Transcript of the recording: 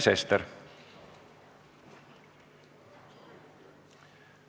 Sven Sester.